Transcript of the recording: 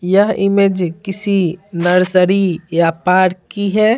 यह इमेज किसी नर्सरी या पार्क की है।